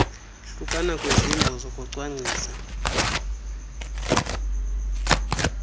hlukana kwezimbo zokucwangcisa